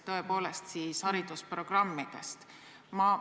Võiks alustada neis haridusprogrammide korraldamist.